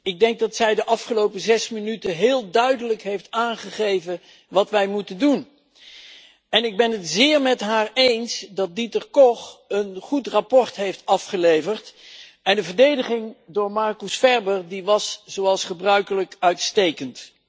Ik denk dat zij de afgelopen zes minuten heel duidelijk heeft aangegeven wat wij moeten doen en ik ben het zeer met haar eens dat Dieter Koch een goed verslag heeft afgeleverd en de verdediging door Marcus Ferber was zoals gebruikelijk uitstekend.